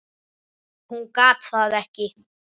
Hún gat það ekki.